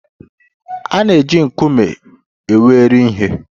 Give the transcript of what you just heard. A na-eji nkume egweri ihe.